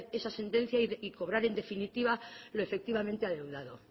esa sentencia y cobrar en definitiva lo efectivamente adeudado